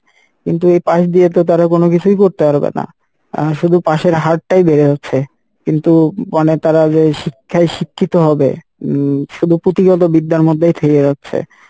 কিন্তু এই pass দিয়ে তো তারা কোনো কিছুই করতে পারবেনা, আহ শুধু pass এর হার টাই বেড়ে যাচ্ছে কিন্তু মানে তারা যে শিক্ষাই শিক্ষিত হবে উম শুধু পুঁথিগত বিদ্যার মধ্যেই থেকে যাচ্ছে